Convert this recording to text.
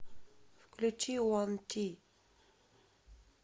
включи ван ти